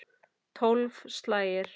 Tólf slagir.